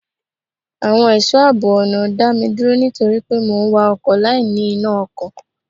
Àwọn ẹ̀ṣọ́ àbọ̀ ọ̀nà dá mi dúró nítorí pé mò ń wa ọkọ̀ láì ní iná ọkọ̀.